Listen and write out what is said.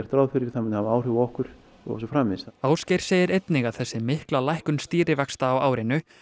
ráð fyrir það muni hafa áhrif á okkur og svo framvegis Ásgeir segir einnig að þessi mikla lækkun stýrivaxta á árinu